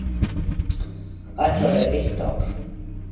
Ætla vera eitt ár.